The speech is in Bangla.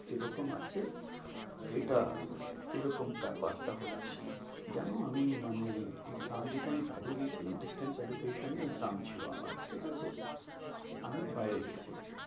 এরকম আছে, এটা এরকম ব্যাপারটা হচ্ছে, জানো আমি মানে exam দিতে আমি আমি বাইরে গেছিলাম। distance এডুকেশনে exam ছিল আমার ঠিক আছে, আমি বাইরে গেছিলাম।